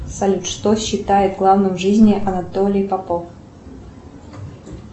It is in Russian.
салют что считает главным в жизни анатолий попов